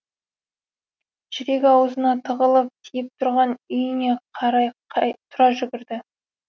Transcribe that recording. жүрегі аузына тығылып тиіп тұрған үйіне қарай тұра жүгірді